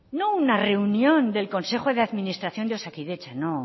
no una reunión del consejo de administración de osakidetza no